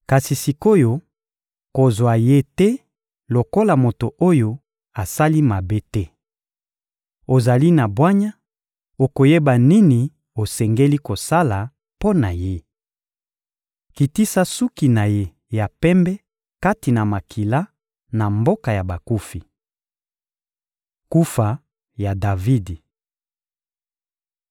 Kasi sik’oyo, kozwa ye te lokola moto oyo asali mabe te. Ozali na bwanya, okoyeba nini osengeli kosala mpo na ye. Kitisa suki na ye ya pembe kati na makila, na mboka ya bakufi.» Kufa ya Davidi (1Ma 29.26-28)